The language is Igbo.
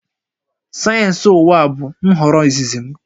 Sayensị ụwa bụ nhọrọ izizi m